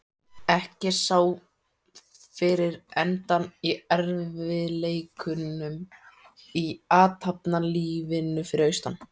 Ekki sá fyrir endann á erfiðleikunum í athafnalífinu fyrir austan.